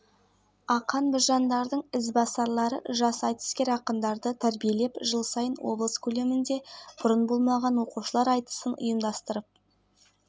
ақмола өңірінен қазақстанның киелі орны республикалық тізіміне нысанды қамтитын жоба енді ал жалпы аймақтағы тарихи-мәдени нысандарды қайта қалпына келтіруге миллиард теңге